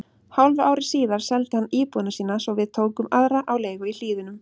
Hálfu ári síðar seldi hann íbúðina sína svo við tókum aðra á leigu í Hlíðunum.